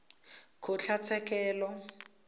kgotlatshekelo